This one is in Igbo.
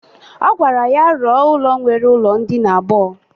Ọ gwara ya rọ ụlọ nwere ụlọ ndịna abụọ.